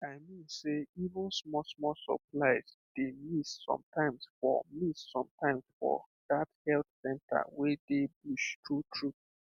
i mean sey even smallsmall supplies dey miss sometimes for miss sometimes for that health center wey dey bush truetrue